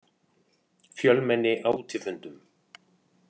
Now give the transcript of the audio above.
Fjölmenni á útifundum